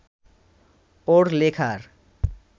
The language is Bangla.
ওর লেখার